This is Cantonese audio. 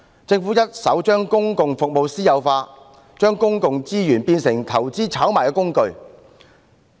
政府一手將公共服務私有化，將公共資源變成投資炒賣的工具。